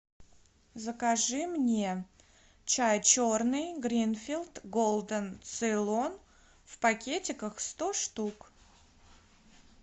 закажи мне чай черный гринфилд голден цейлон в пакетиках сто штук